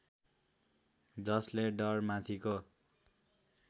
जसले डर माथिको